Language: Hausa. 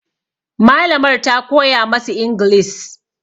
Malamar ta koya masu ingilis